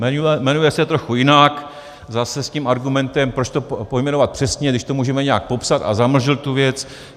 Jmenuje se trochu jinak, zase s tím argumentem, proč to pojmenovat přesně, když to můžeme nějak popsat a zamlžit tu věc.